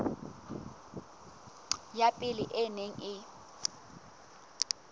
ya pele e neng e